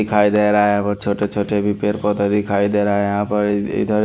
दिखाई दे रहा है वो छोटे छोटे भी पेड़ पौधे दिखाई दे रहा है यहां पर इधर--